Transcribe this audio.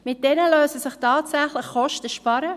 Damit lassen sich tatsächlich Kosten sparen.